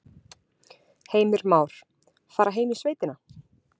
Heimir Már: Fara heim í sveitina?